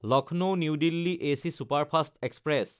Lucknow New Delhi AC superfast express